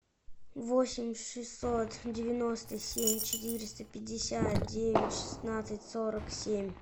восемь шестьсот девяносто семь четыреста пятьдесят девять шестнадцать сорок семь